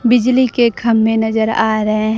बिजली के खंभे नजर आ रहे--